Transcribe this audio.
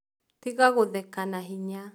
Tĩga gũtheka na hĩnya